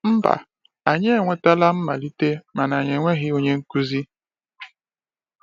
Mba anyị e nwetala mmalite mana anyị enweghị onye nkuzi.